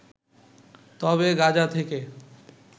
তবে গাজা থেকে